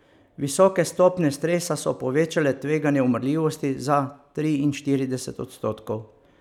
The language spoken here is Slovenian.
Visoke stopnje stresa so povečale tveganje umrljivosti za triinštirideset odstotkov.